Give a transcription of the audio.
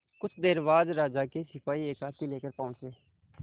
कुछ देर बाद राजा के सिपाही एक हाथी लेकर पहुंच गए